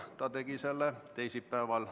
Ta tegi selle teisipäeval.